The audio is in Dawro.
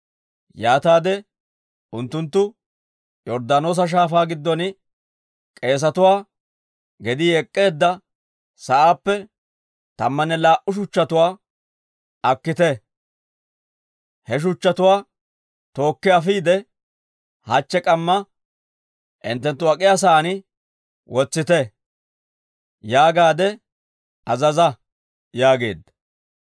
Yaataade unttunttu, ‹Yorddaanoosa Shaafaa giddon k'eesatuwaa gedii ek'k'eedda sa'aappe tammanne laa"u shuchchatuwaa akkite; he shuchchatuwaa tookki afiide, hachche k'amma hinttenttu ak'iyaa sa'aan wotsite› yaagaade azaza» yaageedda.